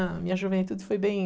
A minha juventude foi bem...